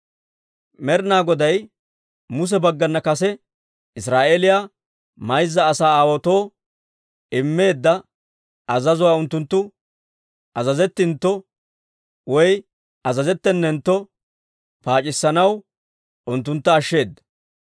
Med'inaa Goday Muse baggana kase Israa'eeliyaa mayza asaa aawaatoo immeedda azazuwaa unttunttu azazettintto azazettenentto paac'issanaw unttuntta ashsheeda.